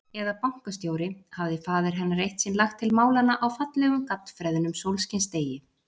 Eða bankastjóri, hafði faðir hennar eitt sinn lagt til málanna á fallegum, gaddfreðnum sólskinsdegi.